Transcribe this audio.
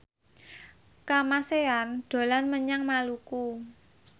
Kamasean dolan menyang Maluku